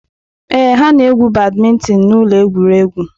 Ee, ha na-egwu badminton na ụlọ egwuregwu.